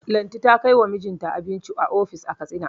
Lanti ta kai wa mijinta abinci ofis a Katsina.